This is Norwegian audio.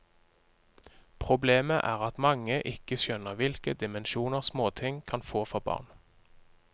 Problemet er at mange ikke skjønner hvilke dimensjoner småting kan få for barn.